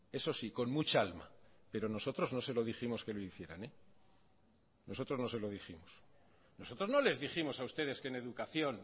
eso sí con mucha alma pero nosotros no se lo dijimos que lo hicieran nosotros no se lo dijimos nosotros no les dijimos a ustedes que en educación